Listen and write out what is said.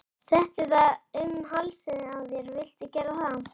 Settu það um hálsinn á þér viltu gera það?